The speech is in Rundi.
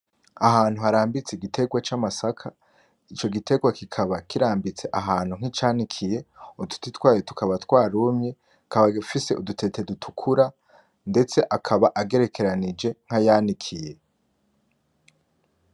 Ahantu harambitse igitegwa c'amasaka, ico gitegwa kikaba kirambitse ahantu nkicanikiye, uduti twayo tukaba twarumye, kikaba gifise udutete dutukura, ndetse akaba agerekeranije nkayanikiye.